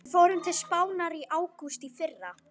Við fórum til Spánar í ágúst í fyrra.